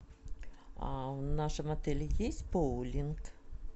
в нашем отеле есть боулинг